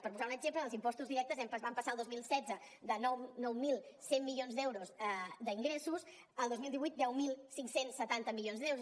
per posar un exemple en els impostos directes vam passar el dos mil setze de nou mil cent milions d’euros d’ingressos al dos mil divuit deu mil cinc cents i setanta milions d’euros